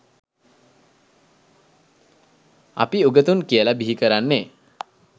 අපි උගතුන් කියල බිහිකරන්නේ